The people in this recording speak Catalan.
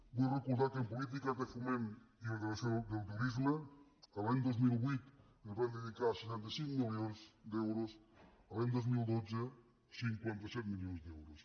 vull re·cordar que en polítiques de foment i ordenació del tu·risme l’any dos mil vuit es van dedicar seixanta cinc milions d’euros l’any dos mil dotze cinquanta set milions d’euros